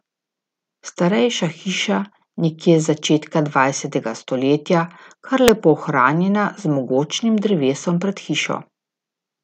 Starejša hiša, nekje z začetka dvajsetega stoletja, kar lepo ohranjena, z mogočnim drevesom pred hišo.